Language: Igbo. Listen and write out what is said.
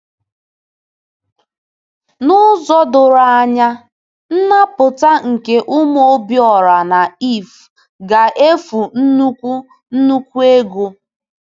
N’ụzọ doro anya, nnapụta nke ụmụ Obiora na Iv ga-efu nnukwu nnukwu ego.